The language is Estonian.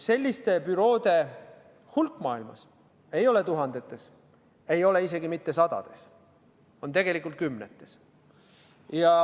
Selliste büroode hulk maailmas ei ole tuhandetes, ei ole isegi mitte sadades, on tegelikult kümnetes.